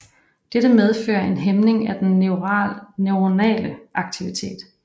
Dette medfører en hæmning af den neuronale aktivitet